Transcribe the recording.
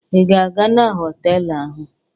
Ị ga-aga na họtelụ ahụ?